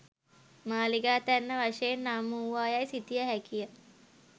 මාලිගාතැන්න වශයෙන් නම් වූවා යැයි සිතිය හැකිය